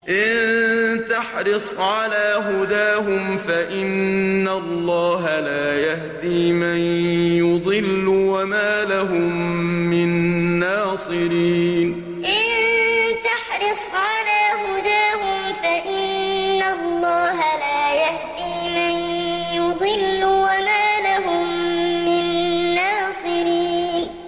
إِن تَحْرِصْ عَلَىٰ هُدَاهُمْ فَإِنَّ اللَّهَ لَا يَهْدِي مَن يُضِلُّ ۖ وَمَا لَهُم مِّن نَّاصِرِينَ إِن تَحْرِصْ عَلَىٰ هُدَاهُمْ فَإِنَّ اللَّهَ لَا يَهْدِي مَن يُضِلُّ ۖ وَمَا لَهُم مِّن نَّاصِرِينَ